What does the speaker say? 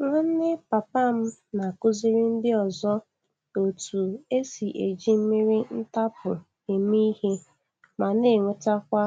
Nwanne papa m na-akụziri ndị ọzọ otú e si eji mmiri ntapu eme ihe, ma na-enwetakwa